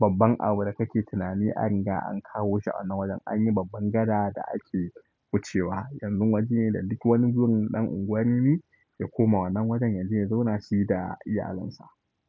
babban abu da kake tunani an riga an kawo shi wannan wajen an yi babban gada da ake wucewa. Yanzu waje ne da duk wani burin ɗan unguwan rimi ya koma wannan wajen yaje ya zauna shi da iyalinsa.